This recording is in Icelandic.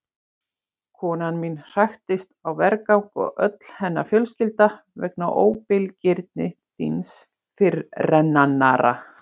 Konan mín hraktist á vergang og öll hennar fjölskylda vegna óbilgirni þíns fyrirrennara.